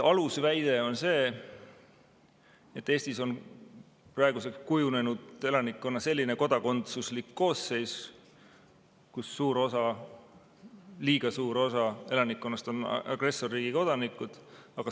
Alusväide on see, et Eestis on praeguseks kujunenud selline elanikkonna kodakondsuslik koosseis, kus suur osa, liiga suur osa elanikkonnast on agressorriigi kodanikud.